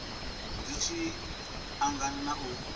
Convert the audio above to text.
zwi tshi angana na u